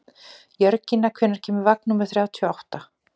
Jörgína, hvenær kemur vagn númer þrjátíu og átta?